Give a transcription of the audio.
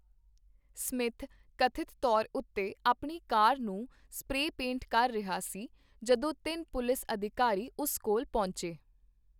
Smith ਕਥਿਤ ਤੌਰ ਉੱਤੇ ਆਪਣੀ ਕਾਰ ਨੂੰ ਸਪਰੇਅ ਪੇਂਟ ਕਰ ਰਿਹਾ ਸੀ ਜਦੋਂ ਤਿੰਨ ਪੁਲਿਸ ਅਧਿਕਾਰੀ ਉਸ ਕੋਲ ਪਹੁੰਚੇ।